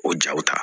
O jaw ta